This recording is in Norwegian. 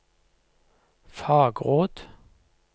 fagråd